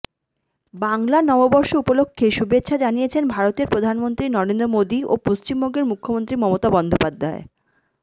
বাংলা নববর্ষ উপলক্ষে শুভেচ্ছা জানিয়েছেন ভারতের প্রধানমন্ত্রী নরেন্দ্র মোদি ও পশ্চিমবঙ্গের মুখ্যমন্ত্রী মমতা বন্দ্যোপাধ্যায়